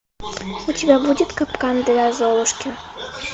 у тебя будет капкан для золушки